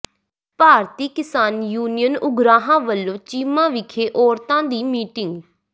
ਭਾਰਤੀ Kisan Union Ugrahan ਵਲੋਂ ਚੀਮਾ ਵਿਖੇ ਔਰਤਾਂ ਦੀ ਮੀਟਿੰਗ